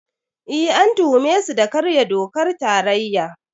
Eh, an tuhume su da karya dokar tarayya.